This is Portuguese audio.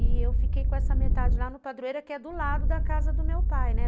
E eu fiquei com essa metade lá no Padroeiro, que é do lado da casa do meu pai, né?